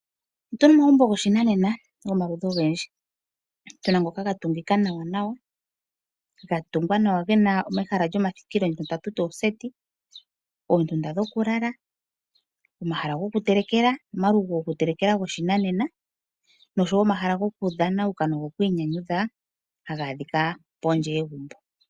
Otu na omagumbo goshinanena gomaludhi ogendji. Tu na ngoka ga tungila nawanawa, ga tungwa nawa ge na omahala gomathikilo ngono tatu ti oseti, oondunda dhokulala, omahala gokutelekela ano omalugo gokutelekela goshinanena nosho wo omahala gokudhana nogokwiinyanyudha haga adhika kondje yegumbo.